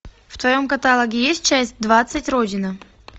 в твоем каталоге есть часть двадцать родина